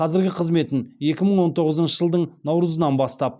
қазіргі қызметін екі мың он тоғызыншы жылдың наурызынан бастап